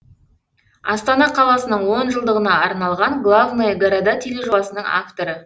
астана қаласының он жылдығына арналған главные города тележобасының авторы